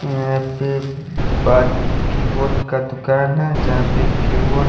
happy keyboard का दुकान है जहां पे कीबोर्ड --